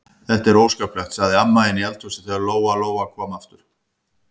Þetta er óskaplegt, sagði amma inni í eldhúsi þegar Lóa-Lóa kom aftur.